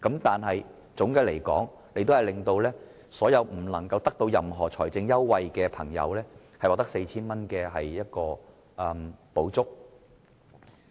但總的來說，司長令所有得不到任何財政優惠的朋友獲得 4,000 元的補助。